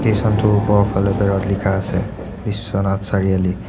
" Station টোৰ ওপৰফালে বেৰত লিখা আছে ""বিশ্বনাথ চাৰিআলি""। "